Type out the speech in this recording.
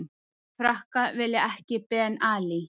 Frakkar vilja ekki Ben Ali